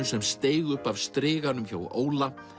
sem steig upp af striganum hjá Óla